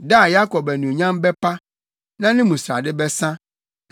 “Da no Yakob anuonyam bɛpa; na ne mu srade bɛsa.